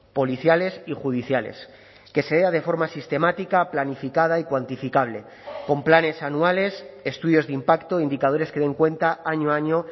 policiales y judiciales que sea de forma sistemática planificada y cuantificable con planes anuales estudios de impacto indicadores que den cuenta año a año